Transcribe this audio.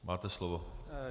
Máte slovo.